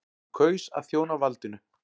Hann kaus að þjóna valdinu.